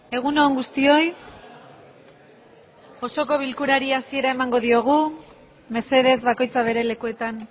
egun on guztioi osoko bilkurari hasiera emango diogu mesedez bakoitza bere lekuetan